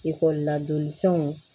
Ekɔli la don fɛnw